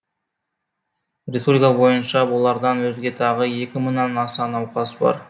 республика бойынша бұлардан өзге тағы екі мыңнан аса науқас бар